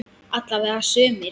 Alla vega sumir.